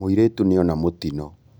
Mūirītu nīona mūtino